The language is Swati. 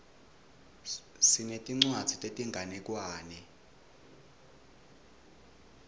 sinetincwadzi tetinganekwane